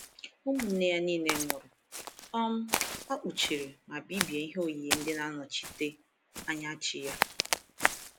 Ụmụnne ya niile nwụrụ, um a kpuchiri ma bibie ihe oyiyi ndị na-anọchite anya chi ya.